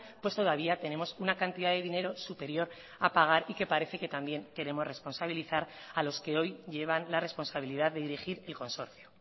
pues todavía tenemos una cantidad de dinero superior a pagar y que parece que también queremos responsabilizar a los que hoy llevan la responsabilidad de dirigir el consorcio